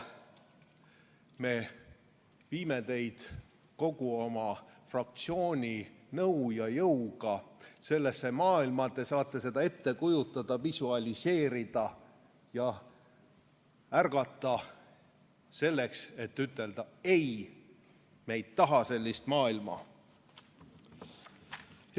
Me viime teid kogu oma fraktsiooni nõu ja jõuga sellesse maailma, te saate seda ette kujutada, visualiseerida ja ärgata, selleks et ütelda: "Ei, me ei taha sellist maailma.